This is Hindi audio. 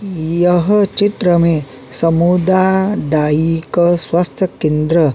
यह चित्र में समुदाय स्वास्थ्य केंद्र --